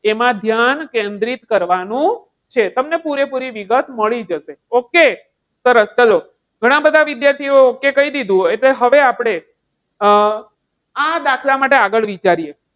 એમાં ધ્યાન કેન્દ્રિત કરવાનું છે. તમને પૂરેપૂરી વિગત મળી જશે. okay સરસ ચાલો ઘણા બધા વિદ્યાર્થીઓ okay કહી દીધું. એટલે હવે આપણે, અમ આ દાખલા માટે આગળ વિચારીએ